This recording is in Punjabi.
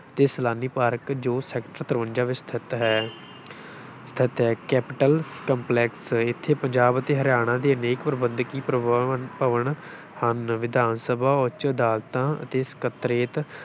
ਅਤੇ ਸੈਲਾਨੀ ਪਾਰਕ ਜੋ sector ਤਰਵੰਜਾ ਵਿੱਚ ਸਥਿਤ ਹੈ ਸਥਿਤ ਹੈ, ਕੈਪਿਟਲ ਕੰਪਲੈਕਸ, ਇੱਥੇ ਪੰਜਾਬ ਅਤੇ ਹਰਿਆਣਾ ਦੇ ਅਨੇਕ ਪ੍ਰਬੰਧਕੀ ਪਰਬਵਨ ਭਵਨ ਹਨ, ਵਿਧਾਨਸਭਾ, ਉੱਚ ਅਦਾਲਤਾਂ ਅਤੇ ਸਕੱਤਰੇਤ